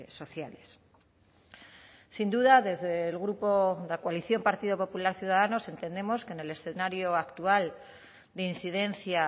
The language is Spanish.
sociales sin duda desde el grupo la coalición partido popular ciudadanos entendemos que en el escenario actual de incidencia